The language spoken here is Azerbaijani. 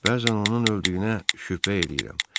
Bəzən onun öldüyünə şübhə eləyirəm.